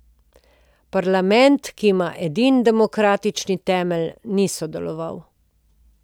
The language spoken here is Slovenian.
Parlament, ki ima edini demokratični temelj, ni sodeloval.